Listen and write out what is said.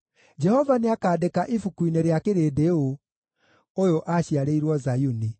Jehova nĩakandĩka ibuku-inĩ rĩa kĩrĩndĩ ũũ: “Ũyũ aaciarĩirwo Zayuni.”